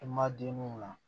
I ma den min la